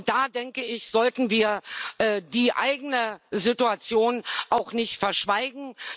Und da, denke ich, sollten wir die eigene Situation auch nicht verschweigen.